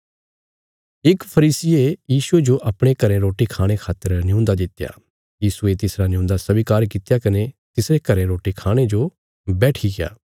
इक फरीसिये यीशुये जो अपणे घरें रोटी खाणे खातर न्यून्दा दित्या यीशुये तिसरा नियून्दा स्वीकार कित्या कने तिसरे घरें रोटी खाणे जो बैठिग्या